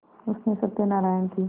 उसने सत्यनाराण की